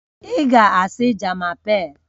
Ị ga-asị "Je m'apelle..."